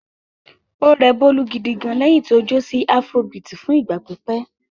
Ó rẹ Bólú gidi gan-an lẹ́yìn tí ó jó sí afrobeat fún ìgbà pípẹ́.